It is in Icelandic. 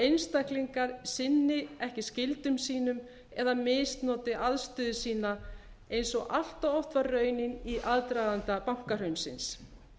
einstaklingar sinni ekki skyldum sínum eða misnoti aðstöðu sína eins og allt of oft var raunin í aðdraganda bankahrunsins